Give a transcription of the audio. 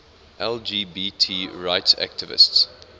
lgbt rights activists